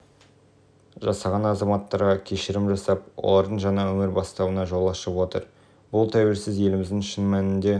жасаған азаматтарға кешірім жасап олардыңжаңа өмір бастауына жол ашып отыр бұл тәуелсіз еліміздің шын мәнінде